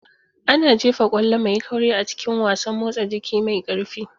Ana jefa ƙwallo mai kauri a cikin wasan motsa jiki mai ƙarfi.